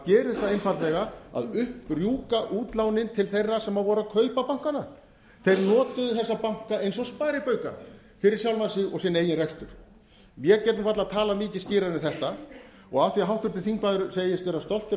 gerir það einfaldlega að upp rjúka útlánin til þeirra sem voru að kaupa bankana þeir notuðu þessa banka eins og sparibauka fyrir sjálfa sig og sinn eigin rekstur ég get varla talað mikið skýrar en þetta og af því að háttvirtur þingmaður segist vera stoltur af því